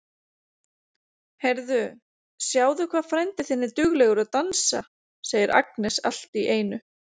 Heyrðu, sjáðu hvað frændi þinn er duglegur að dansa, segir Agnes allt í einu.